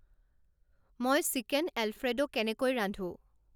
মই chicken Alfredo কেনেকৈ ৰান্ধোঁ